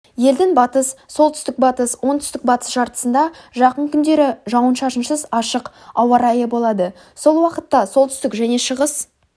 елдің батыс солтүстік-батыс оңтүстік-батыс жартысында жақын күндері жауын-шашынсыз ашық ауа-райы болады сол уақытта солтүстік шығыс және